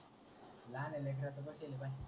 लाहण्या लेकराच बाशील पाय.